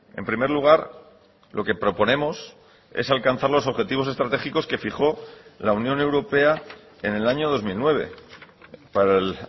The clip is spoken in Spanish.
en primer lugar lo que proponemos es alcanzar los objetivos estratégicos que fijó la unión europea en el año dos mil nueve para el